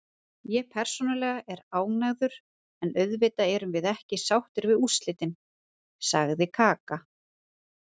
Ég persónulega er ánægður, en auðvitað erum við ekki sáttir við úrslitin, sagði Kaka.